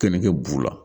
Keninge b'u la